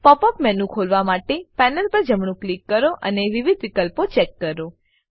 pop up menu ખોલવા માટે panel પર જમણું ક્લિક કરો અને વિવિધ વિકલ્પો ચેક કરો